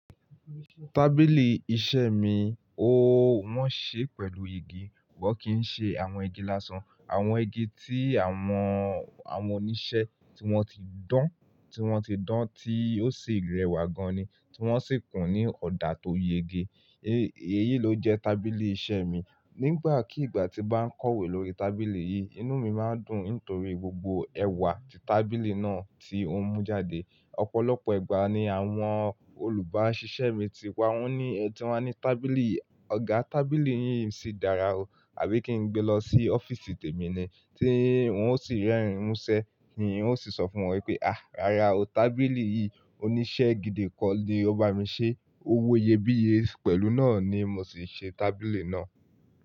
Tábìlì iṣẹ́ mi, ó wọ́n ṣe pẹ̀lú igi, wọ́n kì í ṣe àwọn igi lásán, àwọn igi tí àwọn, àwọn oníṣẹ́ tí wọ́n ti dán, tí wọ́n ti dán tí ó sì rẹwà gan ni, tí wọ́n sì kùn ní ọ̀dà tó yege. Eyi ló jẹ́ tábìlì iṣẹ́ mi. Nígbàkí ìgbà tí bá ń kọ̀wé lórí tábìlì yìí, inú mi máa ń dùn nítorí gbogbo ẹwà tí tábìlì náà tí òun mú jáde. Ọ̀pọ̀lọpọ̀ ìgbà ni àwọn olùbáṣiṣẹ́ mi ti wá, wọ́n ní, tí wọ́n ní, "Tábìlì, Ọ̀gá tábìlì yín sì dára o, àbí kí n gbé lọ sí ọ́fíìsì tèmi ni?" tí wọ́n ó sì rẹ́rìn ín muṣẹ́, tí n ó sì sọ fún wọn pé, "àá, rárá o, tábìlì yìí oníṣẹ́ gidi kan ni ó bá mi ṣe, ówọ yebíye." Pẹ̀lú náà ni mo sì ṣe tábìlì náà.